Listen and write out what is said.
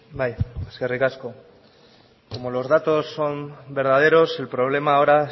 bai eskerrik asko como los datos son verdaderos el problema ahora